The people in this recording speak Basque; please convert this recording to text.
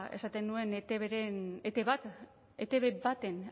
esaten nuen etbren etb bat etb baten